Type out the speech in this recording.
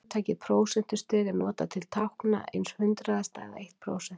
Hugtakið prósentustig er notað til að tákna einn hundraðasta eða eitt prósent.